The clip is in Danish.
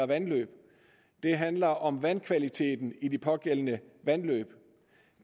vandløb det handler om vandkvaliteten i de pågældende vandløb